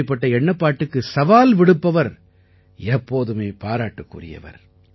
இப்படிப்பட்ட எண்ணப்பாட்டுக்கு சவால் விடுப்பவர் எப்போதுமே பாராட்டுக்குரியவர்